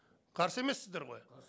қарсы емессіздер ғой